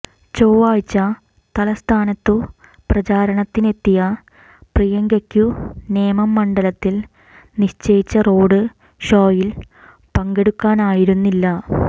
ചൊവ്വാഴ്ച തലസ്ഥാനത്തു പ്രചാരണത്തിനെത്തിയ പ്രിയങ്കയ്ക്കു നേമം മണ്ഡലത്തിൽ നിശ്ചയിച്ച റോഡ് ഷോയിൽ പങ്കെടുക്കാനായിരുന്നില്ല